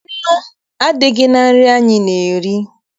Nnu adịghị na nri anyị na-eri.